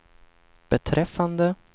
beträffande